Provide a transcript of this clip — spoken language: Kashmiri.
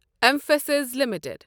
M فاسِس limited